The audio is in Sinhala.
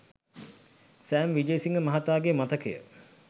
සෑම් විජේසිංහ මහතාගේ මතකය